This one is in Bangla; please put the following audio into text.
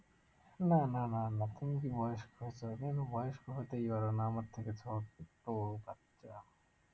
না না না না, তুমি কি বয়স্ক তুমি তো বয়স্ক হতেই পারো না আমার থেকে ছোট বাচ্চা